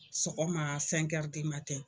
Sɔgɔma